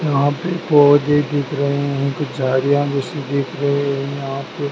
यहाँ पे पौधे दिख रहे हैं कुछ झाड़ियाँ जैसी दिख रहे हैं। यहाँ पे --